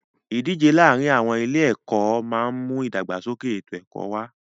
Ìdíje láàárin àwọn ilé ẹ̀kọ́ máà ń mú ìdàgbàsókè ètò ẹ̀kọ́ wá.